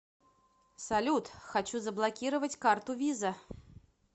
салют хочу заблокировать карту виза